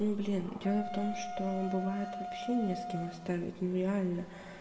ну блин дело в том что бывает вообще не с кем оставить ну реально